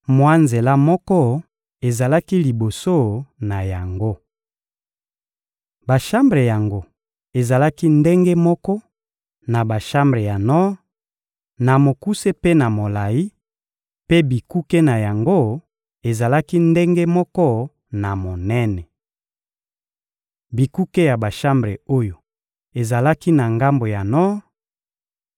Mwa nzela moko ezalaki liboso na yango. Bashambre yango ezalaki ndenge moko na bashambre ya nor, na mokuse mpe na molayi; mpe bikuke na yango ezalaki ndenge moko na monene. Bikuke ya bashambre oyo ezalaki na ngambo ya nor